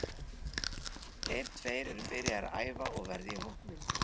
Þeir tveir eru byrjaðir að æfa og verða í hópnum.